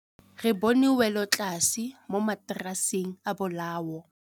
Re bone wêlôtlasê mo mataraseng a bolaô.